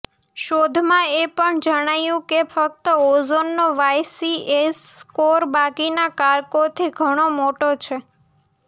શોધમાં એ પણ જણાયું કે ફક્ત ઓઝોનનો વાયસીએસ સ્કોર બાકીના કારકોથી ઘણો મોટો છે